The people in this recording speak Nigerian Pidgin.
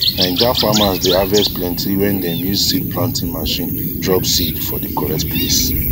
naija farmers dey harvest plenty when dem use seed planting machine drop seed for d correct place